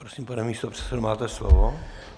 Prosím, pane místopředsedo, máte slovo.